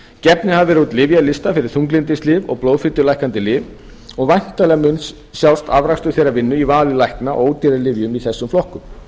gefnir hafa verið út lyfjalistar fyrir þunglyndislyf og blóðfitulækkandi lyf og væntanlega mun sjást afrakstur þeirra vinnu í vali lækna á ódýrara lyfjum í þessum flokkum